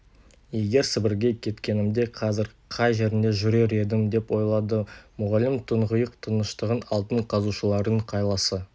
егер сібірге кеткенімде қазір қай жерінде жүрер едім деп ойлады мұғалім тұңғиық тыныштығын алтын қазушылардың қайласы